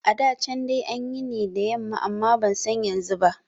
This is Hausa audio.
A da can dai ana yi ne da yamma amma ban san yanzu ba